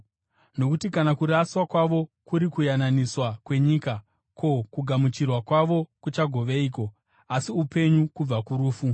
Nokuti kana kuraswa kwavo kuri kuyananiswa kwenyika, ko, kugamuchirwa kwavo kuchagoveiko, asi upenyu kubva kurufu?